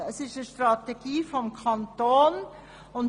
Es ist eine Strategie des Kantons.